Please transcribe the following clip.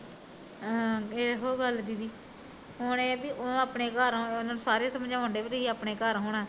ਆਹੋ ਇਹੋ ਗੱਲ ਦੀਦੀ ਹੁਣਹ ਆ ਵੀ ਉਹ ਅਪਣੇ ਘਰ ਸਾਰੇ ਉਹਨੂੰ ਸਾਰੇ ਸਮਜਾਉਣ ਡਏ ਵੀ ਤੁਸੀਂ ਅਪਣੇ ਘਰ ਆਉਣਾ